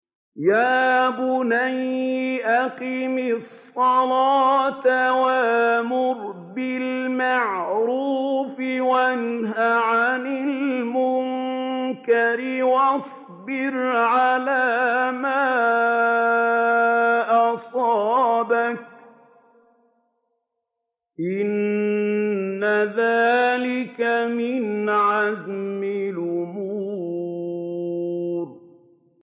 يَا بُنَيَّ أَقِمِ الصَّلَاةَ وَأْمُرْ بِالْمَعْرُوفِ وَانْهَ عَنِ الْمُنكَرِ وَاصْبِرْ عَلَىٰ مَا أَصَابَكَ ۖ إِنَّ ذَٰلِكَ مِنْ عَزْمِ الْأُمُورِ